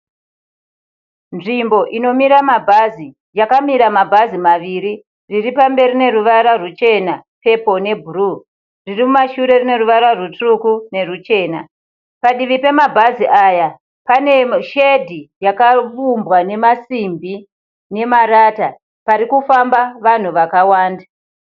Nzvimbo inomira mabhazi. Yakamira mabhazi maviri. Riri pamberi rine ruvara ruchena, pepuro nebhuruu. Ririmumashure rine ruvara rutsvuku neruchena. Padivi pemabhazi aya pane (shade) yakaumbwa namasimbi nemarata parikufamba vanhu vakawanda.